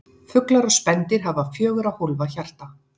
Fuglar og spendýr hafa fjögurra hólfa hjarta.